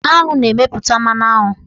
Aṅụ na-emeputa mmanụaṅụ.